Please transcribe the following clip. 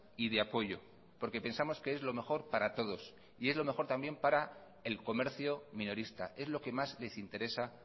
y de apoyo porque pensamos que es lo mejor para todos y es lo mejor también para el comercio minorista es lo que más les interesa